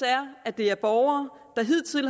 er at det er borgere der hidtil